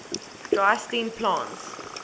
dry steam plants